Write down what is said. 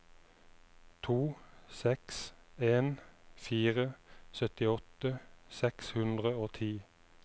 to seks en fire syttiåtte seks hundre og ti